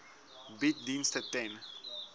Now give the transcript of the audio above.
bied dienste ten